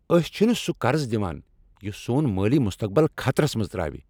أسۍ چھ نہٕ سہ قرض نوان یس سون مٲلی مستقبل خطرس منٛز تراوِ ۔